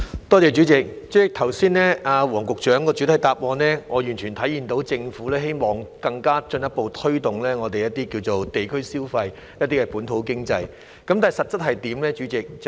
代理主席，從黃局長剛才的主體答覆中，我完全體會到政府希望進一步推動地區消費和本土經濟，但代理主席，實際情況又如何呢？